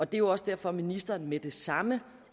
det er jo også derfor at ministeren med det samme